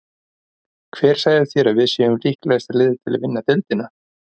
Hver sagði þér að við séum líklegasta liðið til að vinna deildina?